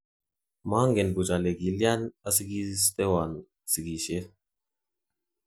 Mongen buch ole kilyan osikistewon sikisyet